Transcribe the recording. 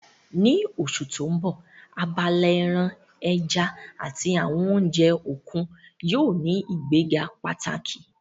Ní oṣù tó ń bọ̀, abala ẹran, ẹja àti àwọn oúnjẹ òkun yóò ní ìgbéga pàtàkì